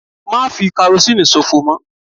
Má fi karosínì sòfò mọ́!